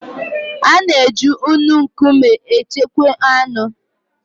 A na-eji nnu nkume echekwa anụ.